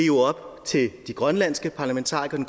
jo op til de grønlandske parlamentarikere